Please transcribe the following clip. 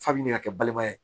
Fa min bɛ ka kɛ balima ye